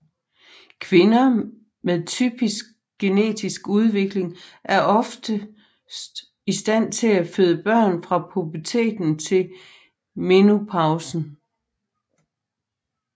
Kvinder med typisk genetisk udvikling er oftest i stand til at føde børn fra puberteten til menopausen